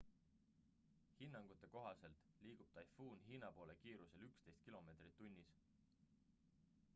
hinnangute kohaselt liigub taifuun hiina poole kiirusel 11 km/h